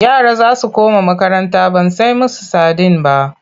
Yara za su koma makaranta ban sai musu sadin ba.-